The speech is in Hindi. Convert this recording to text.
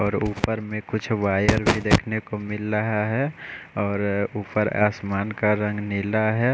और ऊपर में कुछ वायर भी देखने को मिल रहा है और ऊपर आसमान का रंग नीला है।